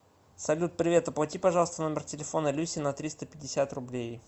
салют привет оплати пожалуйста номер телефона люси на триста пятьдесят рублей